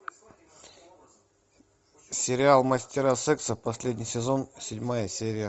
сериал мастера секса последний сезон седьмая серия